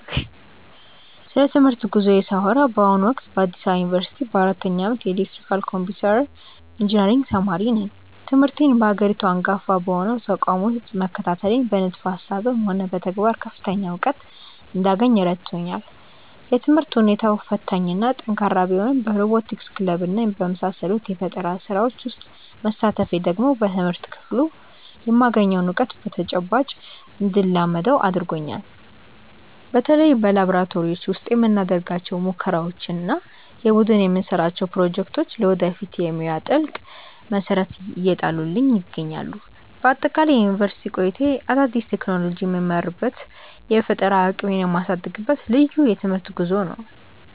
ስለ ትምህርት ጉዞዬ ሳወራ በአሁኑ ወቅት በአዲስ አበባ ዩኒቨርሲቲ በአራተኛ ዓመት የኤሌክትሪካልና ኮምፒውተር ኢንጂነሪንግ ተማሪ ነኝ። ትምህርቴን በሀገሪቱ አንጋፋ በሆነው ተቋም ውስጥ መከታተሌ በንድፈ ሃሳብም ሆነ በተግባር ከፍተኛ እውቀት እንዳገኝ ረድቶኛል። የትምህርት ሁኔታው ፈታኝና ጠንካራ ቢሆንም በሮቦቲክስ ክለብና በመሳሰሉት የፈጠራ ስራዎች ውስጥ መሳተፌ ደግሞ በትምህርት ክፍሉ የማገኘውን እውቀት በተጨባጭ እንድለማመደው አድርጎኛል። በተለይ በላብራቶሪዎች ውስጥ የምናደርጋቸው ሙከራዎችና የቡድን የምንሰራቸው ፕሮጀክቶች ለወደፊት የሙያ ትልቅ መሰረት እየጣሉልኝ ይገኛሉ። በአጠቃላይ የዩኒቨርሲቲ ቆይታዬ አዳዲስ ቴክኖሎጂዎችን የምመረምርበትና የፈጠራ አቅሜን የማሳድግበት ልዩ የትምህርት ጉዞ ነው።